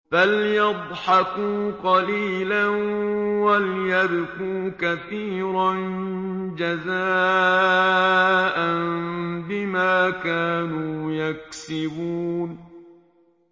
فَلْيَضْحَكُوا قَلِيلًا وَلْيَبْكُوا كَثِيرًا جَزَاءً بِمَا كَانُوا يَكْسِبُونَ